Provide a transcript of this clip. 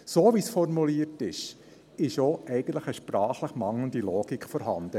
So, wie es formuliert ist, ist eigentlich auch eine sprachlich mangelnde Logik vorhanden.